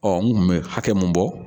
Ɔ n kun be hakɛ mun bɔ